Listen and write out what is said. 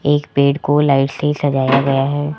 एक पेड़ को लाइट से सजाया गया है।